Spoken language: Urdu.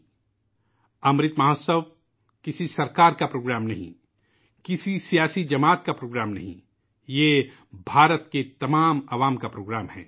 '' امرت مہوتسو '' کسی حکومت کا پروگرام نہیں ہے ، کسی سیاسی پارٹی کا پروگرام نہیں ہے ، یہ پوری طرح ہندوستانیوں کا پروگرام ہے